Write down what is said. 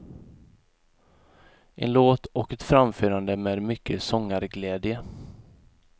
En låt och ett framförande med mycket sångarglädje.